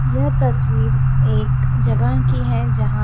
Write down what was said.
यह तस्वीर एक जगह की है जहां --